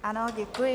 Ano, děkuji.